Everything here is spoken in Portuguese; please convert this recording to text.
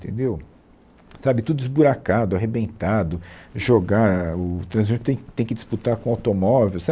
entendeu, sabe, tudo esburacado, arrebentado, jogar, o transeunte tem tem que disputar com o automóvel, sabe